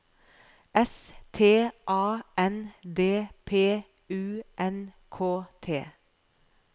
S T A N D P U N K T